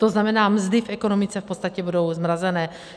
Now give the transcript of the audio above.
To znamená, mzdy v ekonomice v podstatě budou zmrazené.